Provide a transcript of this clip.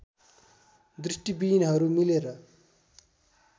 दृष्टिविहीनहरू मिलेर